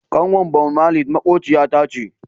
Kanwar bob Merely makwabciyata ta ce